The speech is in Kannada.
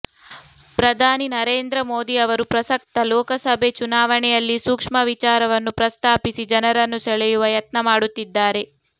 ಪ್ರಧಾನಿ ನರೇಂದ್ರ ಮೋದಿ ಅವರು ಪ್ರಸಕ್ತ ಲೋಕಸಭೆ ಚುನಾವಣೆಯಲ್ಲಿ ಸೂಕ್ಷ್ಮ ವಿಚಾರವನ್ನುಪ್ರಸ್ತಾಪಿಸಿ ಜನರನ್ನು ಸೆಳೆಯುವ ಯತ್ನ ಮಾಡುತ್ತಿದ್ದಾರೆ